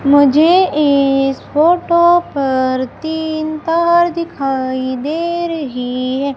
मुझे इस फोटो पर तीन पहाड़ दिखाई दे रहे है।